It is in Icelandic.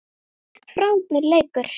Frábær leikur.